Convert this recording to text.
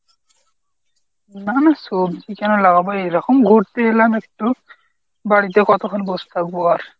না না সবজি কেনো লাগাবো? এই রকম ঘুরতে এলাম একটু। বাড়িতে কতক্ষন বসে থাকবো আর?